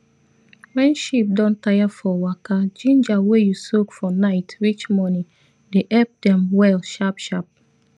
wen sheep don tire for waka ginger wey u soak for nite reach monin dey epp dem well sharp sharp